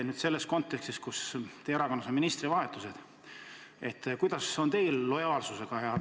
Küsin teie erakonnas toimunud ministrivahetuste kontekstis: kuidas on teil lood lojaalsusega?